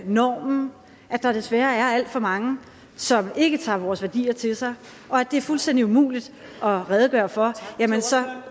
normen og at der desværre er alt for mange som ikke tager vores værdier til sig og at det er fuldstændig umuligt at redegøre for